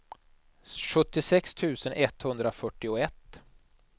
sjuttiosex tusen etthundrafyrtioett